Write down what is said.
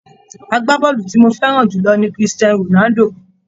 Agbábọ́ọ̀lù tí mo fẹ́ràn jù lọ ni Christian Ronaldo.